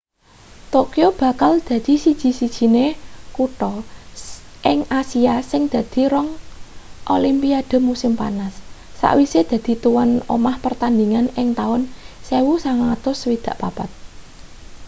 tokyo bakal dadi siji-sijiné kutha ing asia sing dadi rong olimpiade musim panas sawise dadi tuwan omah pertandhingan ing taun 1964